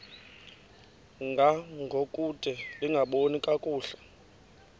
ngangokude lingaboni kakuhle